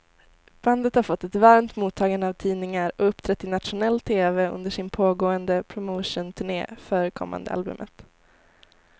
Bandet har fått ett varmt mottagande av tidningar och uppträtt i nationell tv under sin pågående promotionturné för kommande albumet.